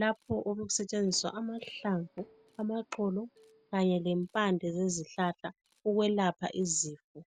lapho obekusetshenziswa amahlamvu, amaxolo kanye lempande zezihlahla ukwelapha izifo.